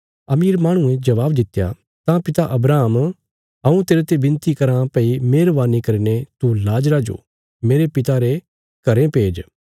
अमीर माहणुये जबाब दित्या तां पिता अब्राहम हऊँ तेरते बिनती कराँ भई मेहरवानी करीने तू लाजरा जो मेरे पिता रे घरें भेज